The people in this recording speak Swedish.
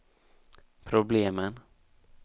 problemen